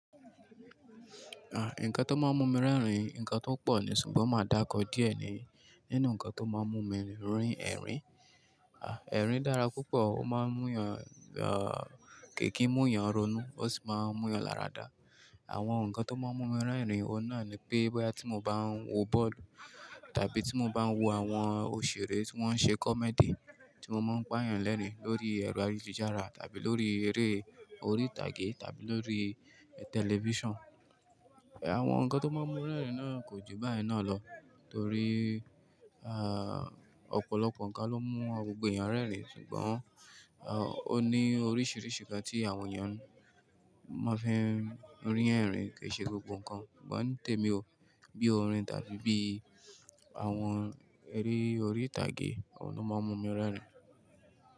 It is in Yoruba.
À, ǹkan tó máa ń mú mi rẹ́rìn-ín ǹkan tó pọ̀ nì, ṣùgbọ́n máa dákọ díẹ̀ ni nínú ǹkan tó máa ń mú mi rín ẹ̀rín. À, ẹ̀rín dára púpọ̀, ó máa ń mú yàn, à, kìkì mú yàn ronú ó sì máa ń mú yàn lára dà. Àwọn ǹkan tó máa ń mú mi rẹ́rìn-ín, òun náà ni pé bóyá tí mo bá ń wo bọ́ọ̀lù tàbí tí mo bá ń wo àwọn òṣèré tí wọ́n ṣe comedy tí won mo n pá yàn lẹ́rìn-ín lórí ẹ̀rọ ayélujára tàbí lórí eré orí ìtàgé tàbí lórí television. Àwọn ǹkan tó máa ń mú rẹ́rìn náà kò ju báyen náà lọ torí, à, ọ̀pọ̀lọpọ̀ ǹkan ló mú gbogbo yàn rẹ́rìn ṣùgbọ́n, à, ó ní oríṣiríṣi ǹkan tí àwọn ènìyàn máa fi ń rín ẹ̀rín kì ṣe gbogbo ǹkan. Ṣùgbọ́n tèmi o, bí orin tàbí bí àwọn eré orí ìtàgé òun lo mo ń mú mi rẹ́rìn.